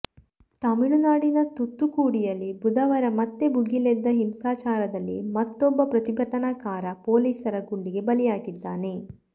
ತಮಿಳುನಾಡಿನ ತೂತ್ತುಕುಡಿಯಲ್ಲಿ ಬುಧವಾರ ಮತ್ತೆ ಭುಗಿಲೆದ್ದ ಹಿಂಸಾಚಾರದಲ್ಲಿ ಮತ್ತೊಬ್ಬ ಪ್ರತಿಭಟನಾಕಾರ ಪೊಲೀಸರ ಗುಂಡಿಗೆ ಬಲಿಯಾಗಿದ್ದಾನೆ